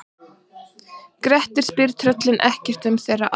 Grettir spyr tröllin ekkert um aldur þeirra.